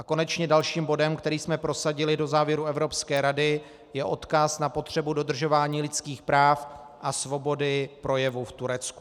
A konečně dalším bodem, který jsme prosadili do závěrů Evropské rady, je odkaz na potřebu dodržování lidských práv a svobody projevu v Turecku.